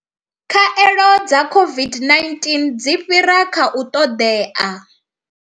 Khaelo dza COVID-19 dzi fhira kha u ṱoḓea.